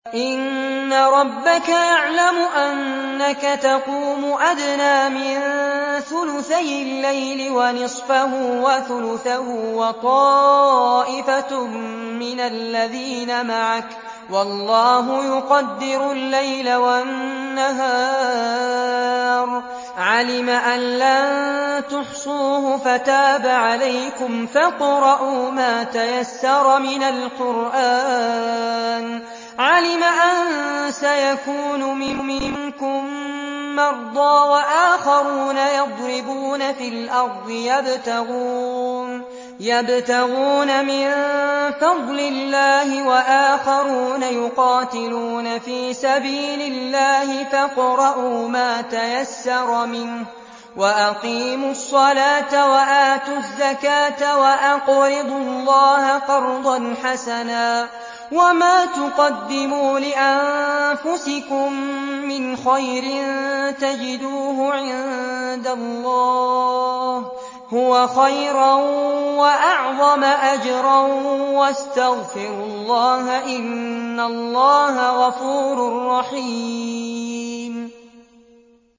۞ إِنَّ رَبَّكَ يَعْلَمُ أَنَّكَ تَقُومُ أَدْنَىٰ مِن ثُلُثَيِ اللَّيْلِ وَنِصْفَهُ وَثُلُثَهُ وَطَائِفَةٌ مِّنَ الَّذِينَ مَعَكَ ۚ وَاللَّهُ يُقَدِّرُ اللَّيْلَ وَالنَّهَارَ ۚ عَلِمَ أَن لَّن تُحْصُوهُ فَتَابَ عَلَيْكُمْ ۖ فَاقْرَءُوا مَا تَيَسَّرَ مِنَ الْقُرْآنِ ۚ عَلِمَ أَن سَيَكُونُ مِنكُم مَّرْضَىٰ ۙ وَآخَرُونَ يَضْرِبُونَ فِي الْأَرْضِ يَبْتَغُونَ مِن فَضْلِ اللَّهِ ۙ وَآخَرُونَ يُقَاتِلُونَ فِي سَبِيلِ اللَّهِ ۖ فَاقْرَءُوا مَا تَيَسَّرَ مِنْهُ ۚ وَأَقِيمُوا الصَّلَاةَ وَآتُوا الزَّكَاةَ وَأَقْرِضُوا اللَّهَ قَرْضًا حَسَنًا ۚ وَمَا تُقَدِّمُوا لِأَنفُسِكُم مِّنْ خَيْرٍ تَجِدُوهُ عِندَ اللَّهِ هُوَ خَيْرًا وَأَعْظَمَ أَجْرًا ۚ وَاسْتَغْفِرُوا اللَّهَ ۖ إِنَّ اللَّهَ غَفُورٌ رَّحِيمٌ